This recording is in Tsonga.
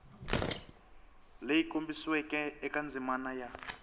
leyi kombisiweke eka ndzimana ya